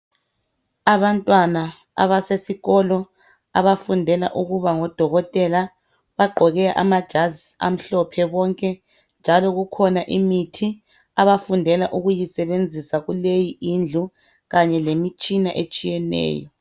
Abantwana abasesikolo abafundela ukuba ngodokothela, bagqoke amajazi amhlophe bonke .Njalo kukhona imithi abafundela ukuyisebenzisa kuleyi indlu kanye lemitshina etshiyeneyo.